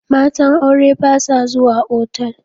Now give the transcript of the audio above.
Matan aure ba sa zuwa otal.